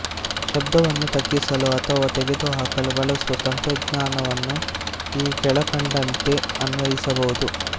ಶಬ್ದವನ್ನು ತಗ್ಗಿಸಲು ಅಥವಾ ತೆಗೆದುಹಾಕಲು ಬಳಸುವ ತಂತ್ರಜ್ಞಾನವನ್ನು ಈ ಕೆಳಕಂಡಂತೆ ಅನ್ವಯಿಸಬಹುದು